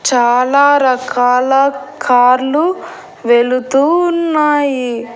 చాలా రకాల కార్లు వెళుతూ ఉన్నాయి.